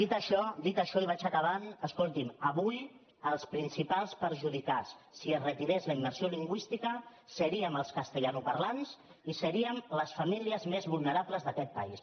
dit això i vaig acabant escolti’m avui els principals perjudicats si es retirés la immersió lingüística seríem els castellanoparlants i seríem les famílies més vulnerables d’aquest país